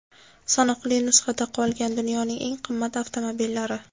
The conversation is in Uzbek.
Sanoqli nusxada qolgan dunyoning eng qimmat avtomobillari .